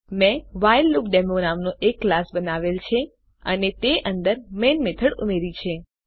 મેં વ્હાઇલડેમો નામનો એક ક્લાસ બનાવેલ છે અને તે અંદર મેઈન મેથડ ઉમેર્યી છે